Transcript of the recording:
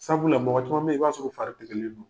Sabula mɔgɔ caman bɛ en, i b'a sɔrɔ u fari delilen don.